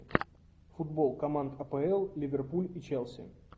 футбол команд апл ливерпуль и челси